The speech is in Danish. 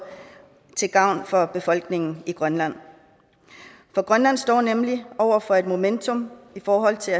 til gavn for befolkningen i grønland for grønland står nemlig over for et momentum i forhold til